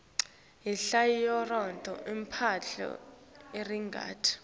inhlitlyoyora ipompa irqati